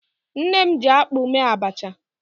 Nne m jiakpụ mee abacha.